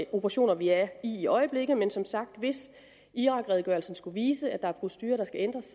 operationer vi er i i øjeblikket men som sagt hvis irakredegørelsen skulle vise at der er procedurer der skal ændres